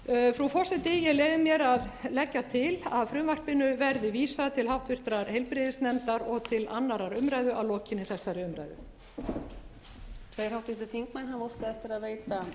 frú forseti ég leyfi mér að leggja til að frumvarpinu verði vísað til háttvirtrar heilbrigðisnefndar og til annarrar umræðu að lokinni þessari umræðu